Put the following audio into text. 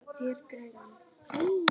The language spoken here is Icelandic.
Ætlaði að stela honum!